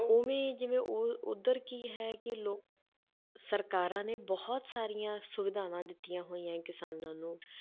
ਉਵੇਂ ਹੀ ਜਿਵੇਂ ਉਹ ਉੱਧਰ ਕੀ ਹੈ ਕਿ ਲੋ~ ਸਰਕਾਰਾਂ ਨੇ ਬਹੁਤ ਸਾਰੀਆਂ ਸੁਵਿਧਾਵਾਂ ਦਿੱਤੀਆਂ ਹੋਈਆਂ ਹੈ ਕਿਸਾਨਾਂ ਨੂੰ,